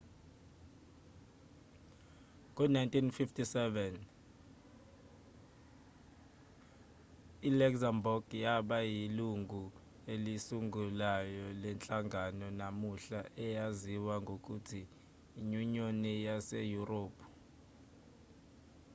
ngo-1957 i-luxembourg yaba yilungu elisungulayo lenhlangano namuhla eyaziwa ngokuthi inyunyoni yaseyurophu